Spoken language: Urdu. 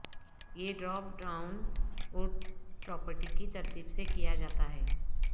یہ ڈراپ ڈاون وڈتھ پراپرٹی کی ترتیب سے کیا جاتا ہے